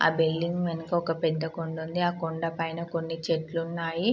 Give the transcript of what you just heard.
ఆ బిల్డింగ్ వెనక ఒక పెద్ద ఆకొండ ఉంది కొండా పైన కొన్ని చెట్లున్నాయి.